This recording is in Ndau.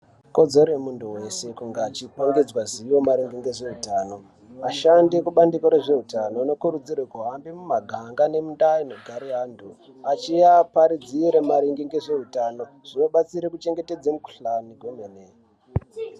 Ikodzero yemuntu wese kunge achipangidzwa zivo maringe ngezvehutano. Vashandi ekubandiko rezveutano vanokurudzirwe kuhambe mumaganga nemundau inogare antu achiaparidzira maringe ngezveutano. Zvinobatsire kuchengetedze mikuhlani kwemene.